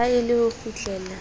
ha e le ho kgutlela